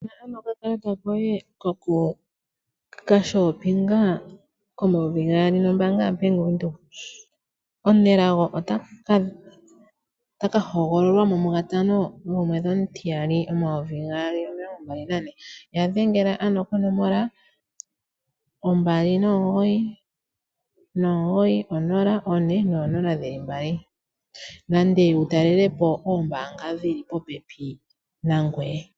Oto vulu oku ninga omusindani gwo hauto yoye. Nena shoka wuna okuninga dhengela ashike ko nomola yo mbaanga ya bank windhoek ngoye wuninge omu nelago .